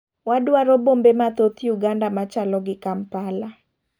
Wadwaro bombe mathoth Uganda machalo gi Kampala